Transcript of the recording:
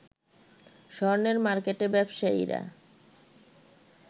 স্বর্ণের মার্কেটে ব্যবসায়ীরা